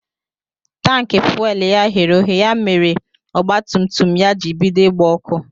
Tanki fuwelu ya ghere oghe ya mere mèrè ọgba tum tum ya jị bido ịgba ọkụ.